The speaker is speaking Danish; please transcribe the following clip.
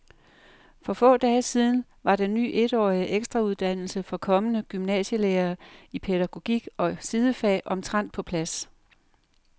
For få dage siden var den ny etårige ekstrauddannelse for kommende gymnasielærere i pædagogik og sidefag omtrent på plads.